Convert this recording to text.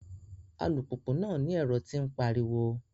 Alupupu náà ni ẹrọ ti o npariwo